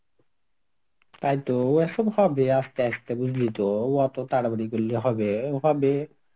তাইতো ওসব হবে আস্তে আস্তে বুঝলি তো. অতো তাড়াহুড়ো করলে হবে. হবে